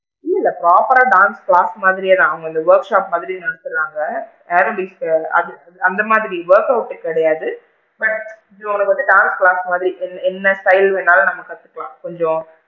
இல்ல proper ரா dance class மாதிரியே தான் அவுங்க இந்த workshop மாதிரி நடத்துறாங்க aerobics கிடையாது அது அந்த மாதிரி workout கிடையாது but இப்ப இது வந்து டான்ஸ் class மாதிரி என்ன style வேணும்னாலும் கத்துக்கலாம் கொஞ்சம்,